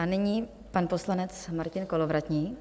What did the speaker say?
A nyní pan poslanec Martin Kolovratník.